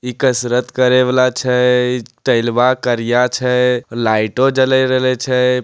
इ कसरत करेवाला छे टइलवा करिया छे लइटो जलि रले छे।